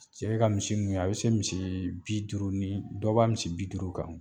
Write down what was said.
Cɛ ka misi ninnu ye a bɛ se misii bi duuru ni dɔ b'a misi bi duuru kan.